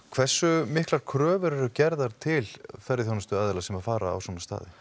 hversu miklar kröfur eru gerðar til ferðaþjónustuaðila sem að fara á svona staði